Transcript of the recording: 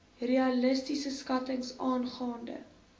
realistiese skattings aangaande